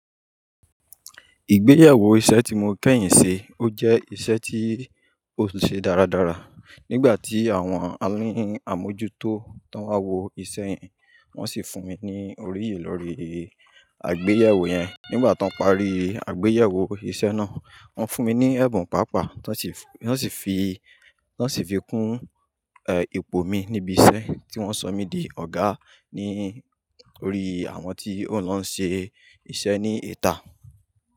Ìgbéyàwó iṣẹ́ tí mo kẹ́yìn ṣe, ó jẹ́ iṣẹ́ tí ó ṣe dáradára. Nígbà tí àwọn aláláàmojútó tó ń wá wo iṣẹ́ yẹn, wọ́n sì fún mi ní òríyè lórí àgbéyẹ̀wò yẹn. Nígbà tó ń parí àgbéyẹ̀wò iṣẹ́ náà, wọ́n fún mi ní ẹ̀bùn pàápàá tó sì fi, tó sì fi kún, ẹ́, ipò mi níbi iṣẹ́ tí wọ́n sọ mí di ọ̀gá lórí àwọn tí ó ń lọ se iṣẹ́ ní ìta.